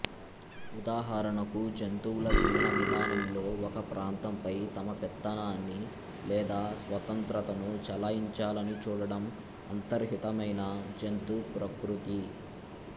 ఉదాహరణకు జంతువుల జీవన విధానంలో ఒక ప్రాంతంపై తమ పెత్తనాన్ని లేదా స్వతంత్రతను చెలాయించాలని చూడడం అంతర్హితమైన జంతుప్రకృతి